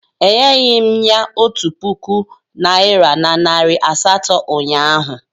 Enyeghị m ya otu puku naịra na nari asatọ ụnyahụ